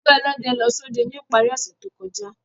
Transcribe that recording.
Ẹgbẹ ọlọdẹ lọ sọdẹ ni ipari ose to kọja.